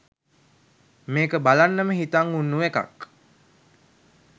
මේක බලන්නම හිතන් උන්නු එකක්.